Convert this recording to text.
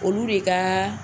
Olu de ka